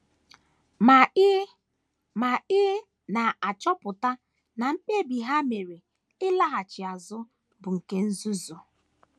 Ma ị Ma ị na - achọpụta na mkpebi ha mere ịlaghachi azụ bụ nke nzuzu.